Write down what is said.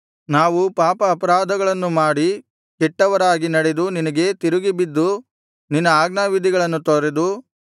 ನಾವು ಪಾಪಾಪರಾಧಗಳನ್ನು ಮಾಡಿ ಕೆಟ್ಟವರಾಗಿ ನಡೆದು ನಿನಗೆ ತಿರುಗಿಬಿದ್ದು ನಿನ್ನ ಆಜ್ಞಾವಿಧಿಗಳನ್ನು ತೊರೆದು